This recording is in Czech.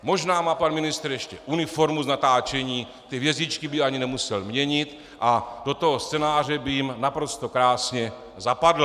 Možná má pan ministr ještě uniformu z natáčení, ty hvězdičky by ani nemusel měnit a do toho scénáře by jim naprosto krásně zapadl.